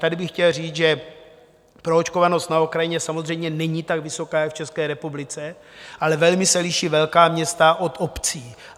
Tady bych chtěl říct, že proočkovanost na Ukrajině samozřejmě není tak vysoká jak v České republice, ale velmi se liší velká města od obcí.